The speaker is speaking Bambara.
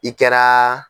I kɛra